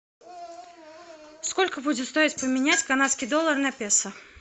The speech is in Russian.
сколько будет стоить поменять канадский доллар на песо